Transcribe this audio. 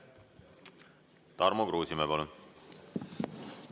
Tarmo Kruusimäe, palun!